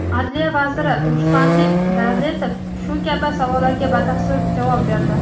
Adliya vaziri Ruslanbek Davletov shu kabi savollarga batafsil javob berdi.